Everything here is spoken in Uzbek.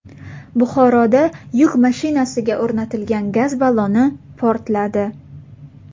Buxoroda yuk mashinasiga o‘rnatilgan gaz balloni portladi.